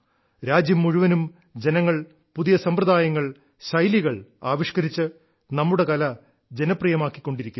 രാജ്യം മുഴുവനും ജനങ്ങൾ പുതിയ സമ്പ്രദായങ്ങൾ ശൈലികൾ ആവിഷ്ക്കരിച്ച് നമ്മുടെ കല ജനപ്രിയമാക്കിക്കൊണ്ടിരിക്കുന്നു